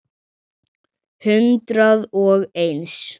Hundrað og eins.